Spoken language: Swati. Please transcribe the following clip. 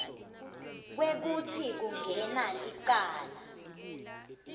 kwekutsi kungene licala